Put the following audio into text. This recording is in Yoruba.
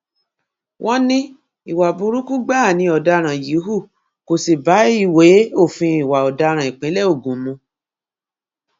wọn ní ìwà burúkú gbáà ni ọdaràn yìí hù kó sì bá ìwé òfin ìwà ọdaràn ìpínlẹ ogun mu